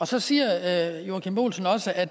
så siger herre joachim b olsen også at